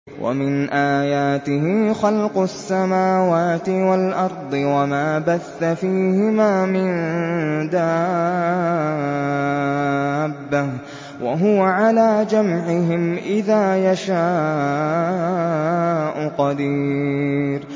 وَمِنْ آيَاتِهِ خَلْقُ السَّمَاوَاتِ وَالْأَرْضِ وَمَا بَثَّ فِيهِمَا مِن دَابَّةٍ ۚ وَهُوَ عَلَىٰ جَمْعِهِمْ إِذَا يَشَاءُ قَدِيرٌ